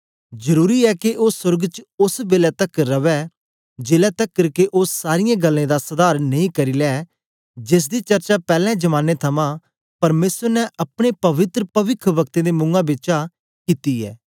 जरुरी ऐ के ओ सोर्ग च ओस बेलै तकर रवै जेलै तकर के ओ सारीयें गल्लें दा सधार नेई करी लै जेसदी चर्चा पैले जमानें थमां परमेसर ने अपने पवित्र पविखवक्तें दे मुआं बिचा कित्ती ऐ